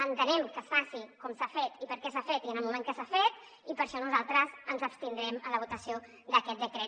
entenem que es faci com s’ha fet i per què s’ha fet i en el moment que s’ha fet i per això nosaltres ens abstindrem en la votació d’aquest decret